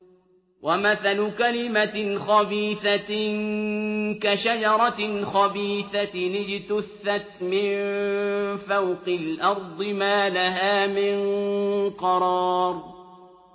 وَمَثَلُ كَلِمَةٍ خَبِيثَةٍ كَشَجَرَةٍ خَبِيثَةٍ اجْتُثَّتْ مِن فَوْقِ الْأَرْضِ مَا لَهَا مِن قَرَارٍ